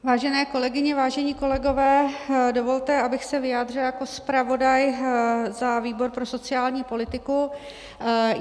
Vážené kolegyně, vážení kolegové, dovolte, abych se vyjádřila jako zpravodaj za výbor pro sociální politiku.